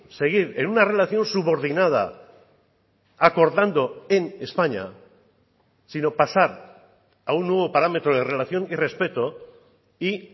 seguir en una relación subordinada acordando en españa sino pasar a un nuevo parámetro de relación y respeto y